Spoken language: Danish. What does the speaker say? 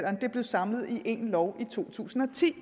blevet samlet i en lov i to tusind og ti